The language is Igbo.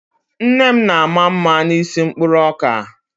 Nne m na-ama mma n'isi mkpụrụ ọka.